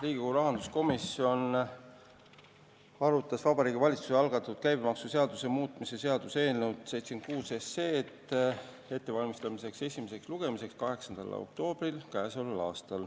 Riigikogu rahanduskomisjon arutas Vabariigi Valitsuse algatatud käibemaksuseaduse muutmise seaduse eelnõu 76 esimeseks lugemiseks ettevalmistamisel k.a 8. oktoobril.